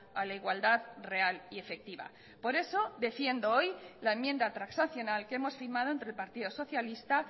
a la igualdad real y efectiva por eso defiendo hoy la enmienda transaccional que hemos firmado entre el partido socialista